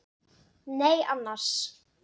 Nei annars.